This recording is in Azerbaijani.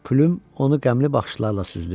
Pülüm onu qəmli baxışlarla süzdü.